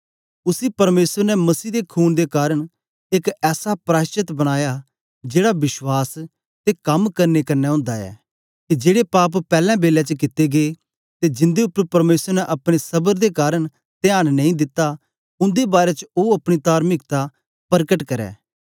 उसी परमेसर ने मसीह दे खून दे कारन एक ऐसा प्राशचत बनाया जेड़ा विश्वास ते कम करने कन्ने ओंदा ऐ के जेड़े पाप पैलैं बेलै च कित्ते गै ते जिन्दे उपर परमेसर ने अपने सबर दे कारन त्यान नेई दिता उन्दे बारै च ओ अपनी तार्मिकता परकट करै